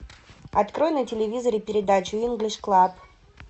открой на телевизоре передачу инглиш клаб